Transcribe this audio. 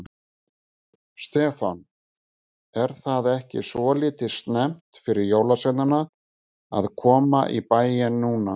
Stefán: Er það ekki svolítið snemmt fyrir jólasveinana að koma í bæinn núna?